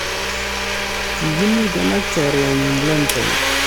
Kikimiten ak chorwenyuk London